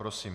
Prosím.